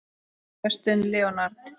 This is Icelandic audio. Justin Leonard